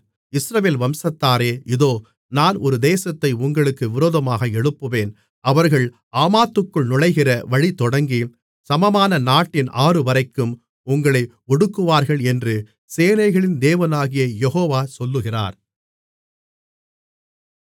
இஸ்ரவேல் வம்சத்தாரே இதோ நான் ஒரு தேசத்தை உங்களுக்கு விரோதமாக எழுப்புவேன் அவர்கள் ஆமாத்துக்குள் நுழைகிற வழி தொடங்கிச் சமமான நாட்டின் ஆறுவரைக்கும் உங்களை ஒடுக்குவார்கள் என்று சேனைகளின் தேவனாகிய யெகோவா சொல்லுகிறார்